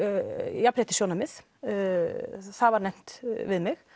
jafnréttissjónarmið það var nefnt við mig